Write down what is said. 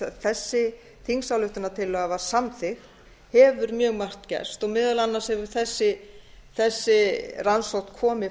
þessi þingsályktunartillaga var samþykkt hefur mjög margt gerst meðal annars hefur þessi rannsókn komið